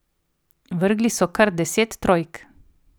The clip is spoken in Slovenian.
Vrgli so kar deset trojk.